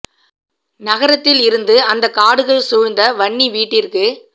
நகரத்தில் இருந்து அந்த காடுகள் சூழ்ந்த வன்னி வீட்டிற்க்கு